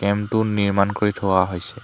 টেণ্টটো নিৰ্মাণ কৰি থোৱা হৈছে।